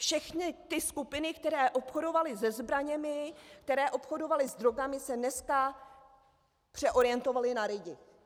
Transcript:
Všechny ty skupiny, které obchodovaly se zbraněmi, které obchodovaly s drogami, se dneska přeorientovaly na lidi.